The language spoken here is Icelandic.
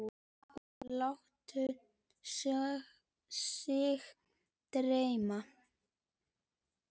Og láta sig dreyma.